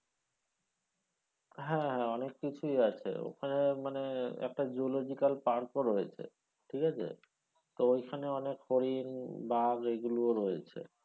হ্যাঁ হ্যাঁ অনেক কিছুই আছে ওখানে মানে একটা geological park ও রয়েছে ঠিক আছে? তো ওইখানে অনেক হরিন বাঘ এইগুলো ও রয়েছে।